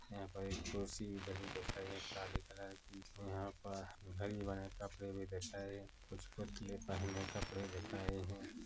यहाँ पर एक कुर्सी भी धरी दिख रही है काले कलर की यहाँ पर हरी वाले कपड़े दिख रहे है कुछ पुतले पहने कपड़े दिख रहे हैं।